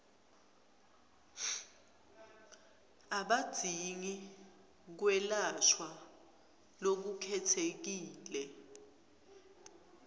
abadzingi kwelashwa lokukhetsekile